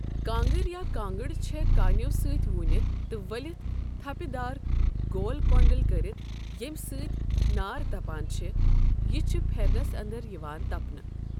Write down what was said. کانٛگٕر یا کانٛگٕڑ چھےٚ کانؠو سٟتؠ ووٗنِتھ تہٕ ؤلِتھ تَھپِہ دار گول کۄنٛڈَل کٔرِتھ ییمۍ سٟتؠ نار تَپان چھےٚ یہِ چھ پھؠرنَس اَندر یِوان تَپنہٕ۔